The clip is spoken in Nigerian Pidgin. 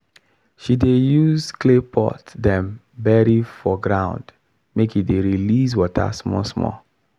she dey use claypot dem bury for ground make e dey release water small small